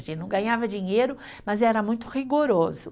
A gente não ganhava dinheiro, mas era muito rigoroso.